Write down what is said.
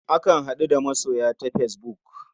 Akan haɗu da masoya ta fesbuk.